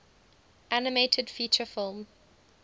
animated feature film